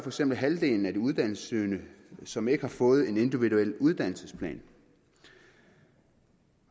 eksempel halvdelen af de uddannelsessøgende som ikke har fået en individuel uddannelsesplan og